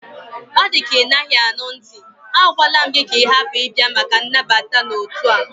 Ọ dịka Ị naghị anụ ntị, a gwala m gị ka ị hapụ ịbịa maka nnabata n'otu a!